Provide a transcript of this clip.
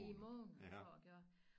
I måned for at gøre